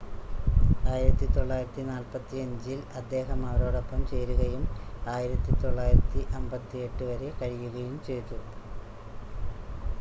1945-ൽ അദ്ദേഹം അവരോടൊപ്പം ചേരുകയും 1958 വരെ കഴിയുകയും ചെയ്തു